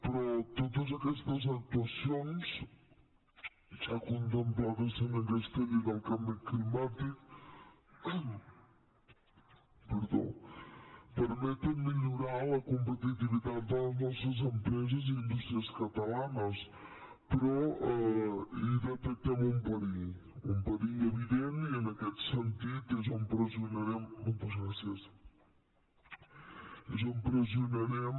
però totes aquestes actuacions ja contemplades en aquesta llei del canvi climàtic permeten millorar la competitivitat de les nostres empreses i indústries catalanes però hi detectem un perill un perill evident i en aquest sentit és on pressionarem